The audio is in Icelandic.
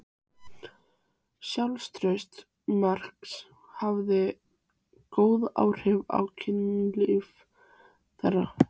Sjálfstraust Marks hafði góð áhrif á kynlíf þeirra.